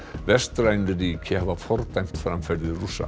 vestræn ríki hafa fordæmt framferði Rússa